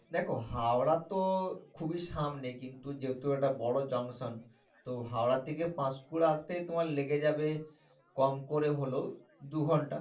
দেখ হাওড়া তো খুবি সামনে কিন্তু যেহেতু এটা বড় junction তো হাওড়া থেকে পাঁশকুড়া আসতে তোমার লেগে যাবে কম করে হলেও দু ঘন্টা